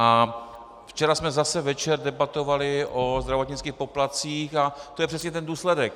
A včera jsme zase večer debatovali o zdravotnických poplatcích a to je přesně ten důsledek.